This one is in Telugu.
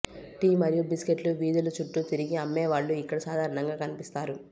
టీ మరియు బిస్కెట్లు వీధుల చుట్టూ తిరిగి అమ్మేవాళ్ళు ఇక్కడ సాధారణంగా కనిపిస్తారు